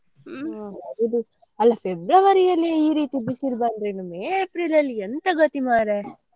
ಹೌದು ಅಲ್ಲ February ಅಲ್ಲೇ ಈ ರೀತಿ ಬಿಸಿಲು ಬಂದ್ರೆ ಇನ್ನು May, April ಅಲ್ಲಿ ಎಂತ ಗತಿ ಮಾರ್ರೆ.